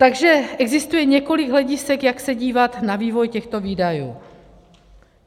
Takže existuje několik hledisek, jak se dívat na vývoj těchto výdajů.